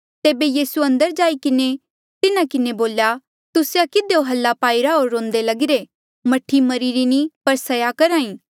तेबे यीसूए अंदर जाई किन्हें तिन्हा किन्हें बोल्या तुस्से किधियो हाल्ला पाईरा होर रोंदे लगिरे मह्ठी मरीरी नी पर सया करहा ई